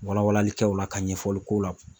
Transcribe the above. Wala walalikɛ o la ka ɲɛfɔli k'o la